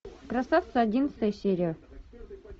красавцы одиннадцатая серия